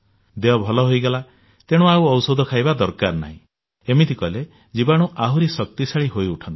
ଦେହ ଭଲ ହୋଇଗଲା ତେଣୁ ଆଉ ଔଷଧ ଖାଇବା ଦରକାର ନାହିଁ ଏମିତି କଲେ ଜୀବାଣୁ ଆହୁରି ଶକ୍ତିଶାଳୀ ହୋଇଉଠନ୍ତି